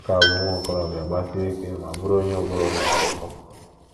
Ọ ka bụ nwa okorobịa, gbasie ike, ma bụrụ onye ụbụrụ na - aghọ nkọ.